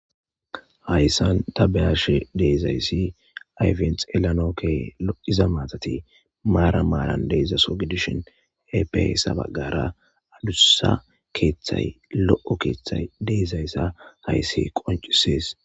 Hayssan tabehashe deezayssi ayfens elanokke iza maatati maara maalan deezdzaso gidishin epesa baggara adussa keeththay lo'o keeththay deezayssa hayssi qoncisees.